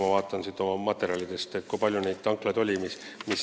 Ma vaatan oma materjalidest järele, kui palju neid kütusemüüjaid on ...